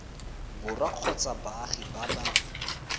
borwa kgotsa baagi ba ba